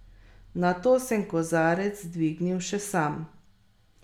Nato sem kozarec dvignil še sam.